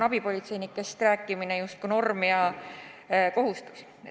Täna on abipolitseinikest rääkimine justkui norm ja kohustus.